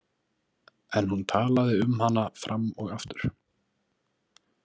En hún talaði um hana fram og aftur.